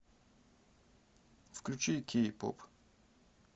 включи кей поп